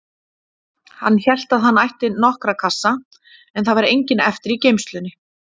Hann hélt að hann ætti nokkra kassa, en það var enginn eftir í geymslunni.